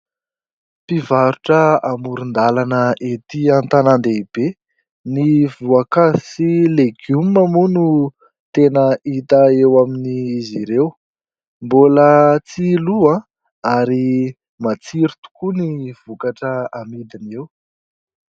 Mpivarotra amoron-dalana etỳ an-tanan-dehibe. Ny voankazo sy legioma moa no tena hita eo amin' izy ireo. Mbola tsy lò ary matsiro tokoa ny vokatra amidiny eo.